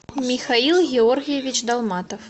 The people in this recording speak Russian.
михаил георгиевич долматов